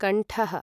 कण्ठः